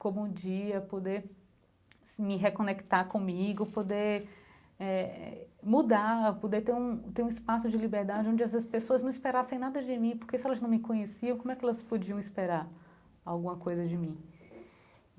como um dia poder me reconectar comigo, poder eh mudar, poder ter um ter um espaço de liberdade onde essas pessoas não esperassem nada de mim, porque se elas não me conheciam, como é que elas podiam esperar alguma coisa de mim?